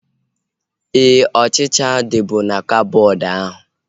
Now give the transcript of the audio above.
Éè, ọchịchịa dịbu na koboodu ahu